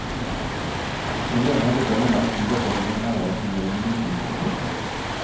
Problemet er de gangene alt tyder på at noen er der, men ringelyden ikke stopper.